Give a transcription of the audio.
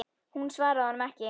Hún svaraði honum ekki.